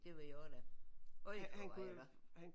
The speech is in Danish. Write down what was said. Det var jeg også da øj hvor var jeg der